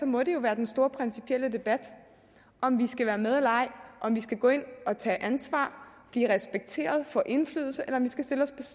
må det være den store principielle debat om vi skal være med eller ej om vi skal gå ind og tage ansvar blive respekteret få indflydelse eller om vi skal stille os